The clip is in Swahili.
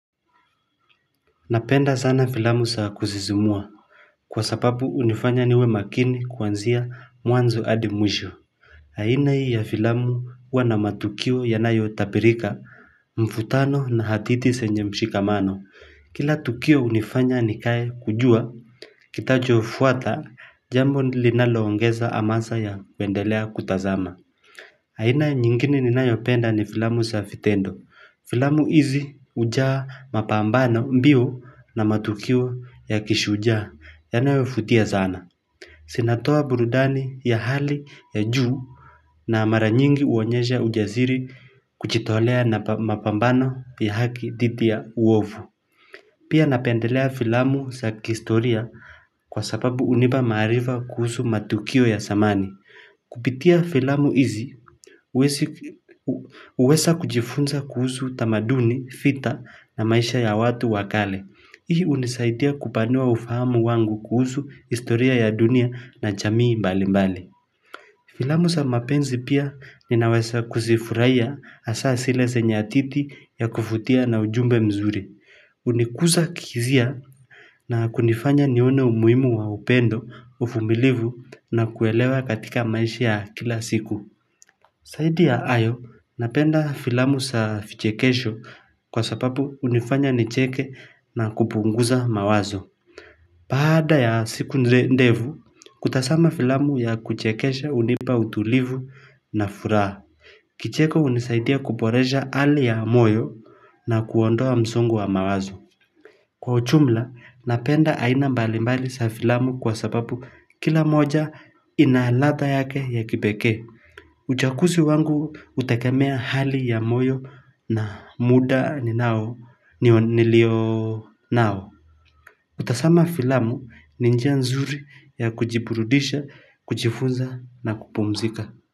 Napenda sana filamu za kuzizimua kwa sababu hunifanya niwe makini kuanzia mwanzo hadi mwisho haina hii ya filamu huwana matukio yanayo tabirika Mfutano na hadithi zenye mshikamano kila tukio hunifanya nikae kujua kitajo fuata Jambo linalo ongeza hamasa ya kuendelea kutazama aina nyingine ninayopenda ni filamu za vitendo. Filamu hizi hujaa mapambano mbio na matukio ya kishujaa yanayovutia sana. Zinatoa burudani ya hali ya juu na mara nyingi huonyesha ujasiri kujitolea na mapambano ya haki dhidi ya uovu. Pia napendelea filamu za kihistoria kwa sababu hunipa maarifa kuhusu matukio ya zamani. Kupitia filamu hizi huweza kujifunza kuhusu utamaduni, vita na maisha ya watu wakale Hii unisaidia kupanua ufahamu wangu kuhusu historia ya dunia na jamii mbali mbali Filamu sa mapenzi pia ninaweza kuzifurahia hasa zile zenya hadithi ya kuvutia na ujumbe mzuri Unikuza kihizia na kunifanya nione umuhimu wa upendo uvumilivu na kuelewa katika maisha ya kila siku zaidi ya hayo napenda filamu za vichekesho kwa sababu hunifanya nicheke na kupunguza mawazo baada ya siku ndevu, kutazama filamu ya kuchekesha hunipa utulivu na furaha Kicheko hunisaidia kuboresha hali ya moyo na kuondoa msongo wa mawazo Kwa ujumla, napenda aina mbali mbali za filamu kwa sababu kila moja inaladha yake ya kipekee. Uchakusi wangu hutegemea hali ya moyo na muda ninao nilio nao. Kutazama filamu ni njia nzuri ya kujiburudisha, kujifunza na kupumzika.